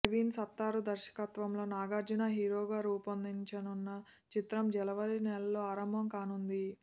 ప్రవీణ్ సత్తారు దర్శకత్వంలో నాగార్జున హీరోగా రూపొందనున్న చిత్రం జనవరి నెలలో ఆరంభం కానుంది